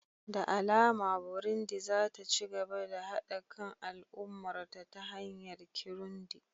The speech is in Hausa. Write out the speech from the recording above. Da alama Burundi za ta ci gaba da haɗa kan al'ummarta ta hanyar Kirundi